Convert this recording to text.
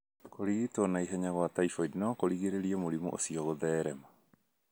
Kũrigitwo na ihenya kwa typhoid no kũgirĩrĩrie mũrimũ ũcio kũtherema